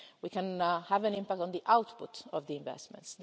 We can have an impact on the output of the investments.